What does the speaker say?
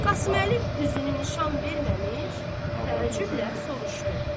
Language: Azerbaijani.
Qasıməli üzünü nişan verməmiş təəccüblə soruşdu.